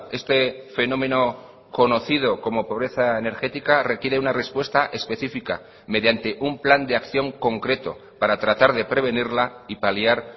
este fenómeno conocido como pobreza energética requiere una respuesta específica mediante un plan de acción concreto para tratar de prevenirla y paliar